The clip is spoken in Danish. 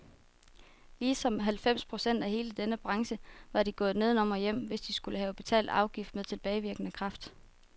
Ligesom halvfems procent af hele denne branche var de gået nedenom og hjem, hvis de skulle have betalt afgiften med tilbagevirkende kraft.